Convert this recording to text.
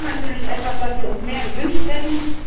Das war natürlich etwas, was wir uns mehr gewünscht hätten.